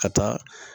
Ka taa